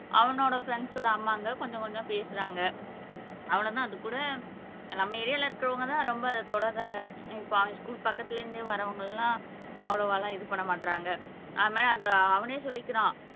அவனோட ஃப்ரண்ட்ஸோட அம்மாங்க கொஞ்சம் கொஞ்சம் பேசுறாங்க அவ்ளோ தான் அது கூட நம்ம ஏரியால இருக்குறவங்க தான் ரொம்ப தொடருறாங்க இப்போ ஸ்கூல் பக்கத்துல இருந்து வர்றவங்க எல்லாம் அவ்வளவோ எல்லாம் இது பண்ண மாட்டறாங்க அதுமாரி அந்த அவனே சொல்லிக்குறான்